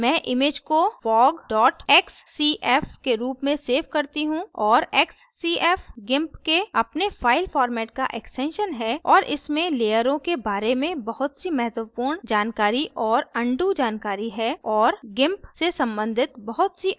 मैं image को fog xcf के रूप में xcf करती हूँ और xcf gimp के अपने फ़ाइल format का extension है और इसमें लेयरों के बारे में बहुत save महत्वपूर्ण जानकारी और अनडू जानकारी है और gimp से संबंधित बहुत save अन्य जानकारियाँ शामिल होती हैं